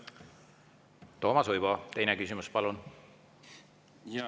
Toomas Uibo, teine küsimus, palun!